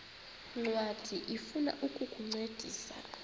ncwadi ifuna ukukuncedisa